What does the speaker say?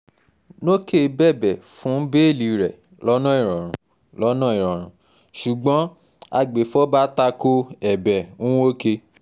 nókè bẹ̀bẹ̀ fún bẹ́ẹ́lí rẹ̀ lọ́nà ìrọ̀rùn lọ́nà ìrọ̀rùn ṣùgbọ́n agbèfọ́ba ta ko ẹ̀bẹ̀ nwoke